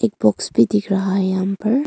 Box भी दिख रहा है यहां पर।